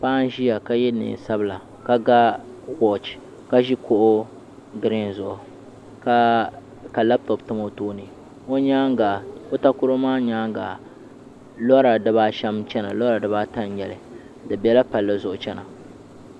Paɣa n ʒiya ka yɛ neen sabila ka ga wooch ka ʒi kuɣu giriin zuɣu ka labtop tam o tooni o takoro maa nyaanga lora dibaashɛm n chɛna lora dibaaata n nyɛli di bɛla palli zuɣu chɛna